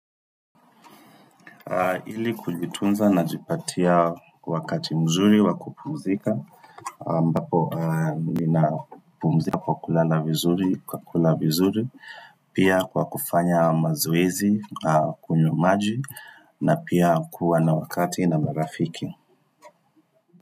Ili kujitunza najipatia wakati mzuri wa kupumzika ambapo ninapumzika kwa kulala vizuri, kwa kula vizuri Pia kwa kufanya mazowezi, kunywa maji na pia kuwa na wakati na marafiki.